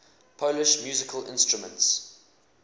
polish musical instruments